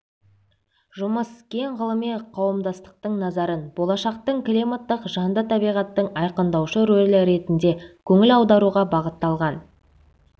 жұмыс кең ғылыми қауымдастықтың назарын болашақтың климаттық жанды табиғаттың айқындаушы ролі ретінде көңіл аударуға бағытталған